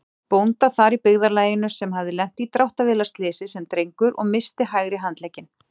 bónda þar í byggðarlaginu sem hafði lent í dráttarvélarslysi sem drengur og misst hægri handlegginn.